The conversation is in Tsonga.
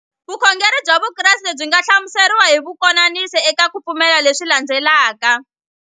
Vukhongeri bya Vukreste byi nga hlamuseriwa hi kukomisa eka ku pfumela leswi landzelaka.